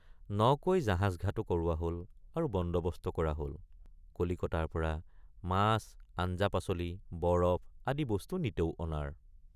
নকৈ জাহাজঘাটো কৰোৱা হল আৰু বন্দৱস্ত কৰা হল কলিকতাৰপৰা মাছআঞ্জাপাচলি বৰফ আদি বস্তু নিতৌ অনাৰ।